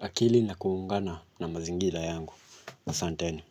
akili na kuungana na mazingira yangu. Asanteni.